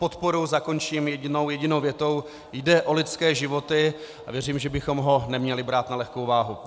Podporu zakončím jedinou větou: Jde o lidské životy a věřím, že bychom to neměli brát na lehkou váhu.